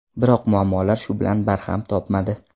Biroq muammolar shu bilan barham topmadi.